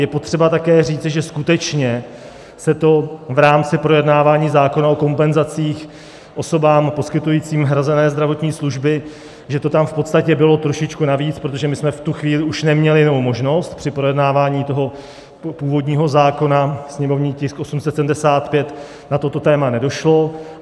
Je potřeba také říci, že skutečně se to v rámci projednávání zákona o kompenzacích osobám poskytujícím hrazené zdravotní služby, že to tam v podstatě bylo trošičku navíc, protože my jsme v tu chvíli už neměli jinou možnost, při projednávání toho původního zákona, sněmovní tisk 875, na toto téma nedošlo.